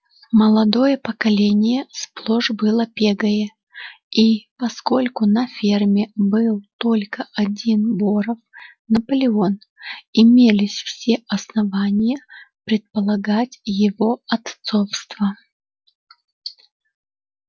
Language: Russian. молодое поколение сплошь было пегое и поскольку на ферме был только один боров наполеон имелись все основания предполагать его отцовство